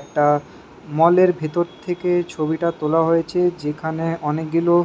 একটা মলের ভিতর থেকে ছবিটা তোলা হয়েছে যেখানে অনেকগুলো--